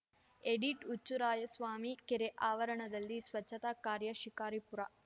edit Huchurayaswamy ಕೆರೆ ಆವರಣದಲ್ಲಿ ಸ್ವಚ್ಛತಾ ಕಾರ್ಯ ಶಿಕಾರಿಪುರ